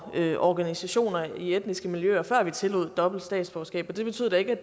organisationer i etniske miljøer før vi tillod dobbelt statsborgerskab og det betyder da ikke